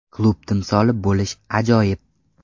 Klub timsoli bo‘lish ajoyib.